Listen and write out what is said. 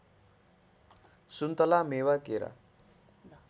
सुन्तला मेवा केरा